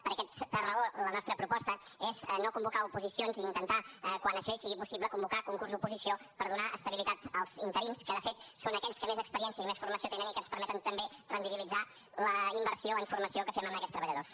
per aquesta raó la nostra proposta és no convocar oposicions i intentar quan això sigui possible convocar concurs oposició per donar estabilitat als interins que de fet són aquells que més experiència i més formació tenen i que ens permeten també rendibilitzar la inversió en formació que fem amb aquests treballadors